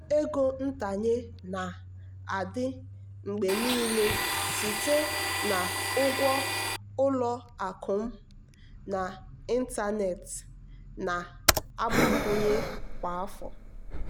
ọnụ ego ntanye na-adị mgbe niile site na ngwa ụlọ akụ m n'ịntanetị na-agbakwụnye kwa afọ.